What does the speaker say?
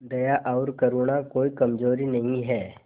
दया और करुणा कोई कमजोरी नहीं है